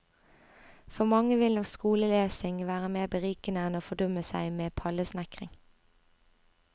For mange vil nok skolelesing være mer berikende enn å fordumme seg med pallesnekring.